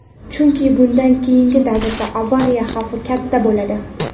Chunki bundan keyingi davrda avariya xavfi katta bo‘ladi.